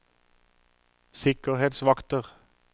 sikkerhetsvakter